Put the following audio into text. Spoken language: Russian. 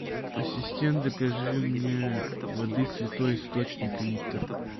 ассистент закажи мне воды святой источник литр